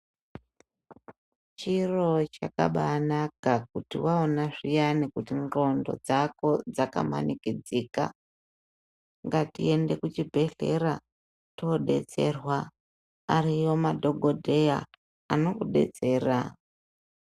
Chiro chakabai naka kuti waona zviyani kuti nxondo dzako dzakamanikidzika ngatiende kuchibhedhlera toobetserwa ariyo madhokodheya anokubetsera.